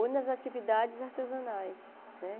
Ou nas atividades artesanais, né?